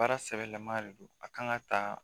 Baara sɛbɛlama de don a kan ka ta